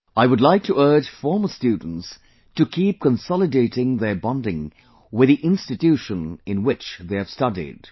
I would like to urge former students to keep consolidating their bonding with the institution in which they have studied